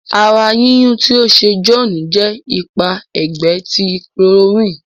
àrà yínyun tí o ṣe John jẹ ipa ẹgbẹ ti chloroquine.